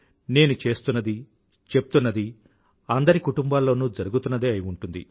నేను చేస్తున్నది చెప్తున్నది అందరి కుటుంబాల్లోనూ జరుగుతున్నదే అయి ఉంటుంది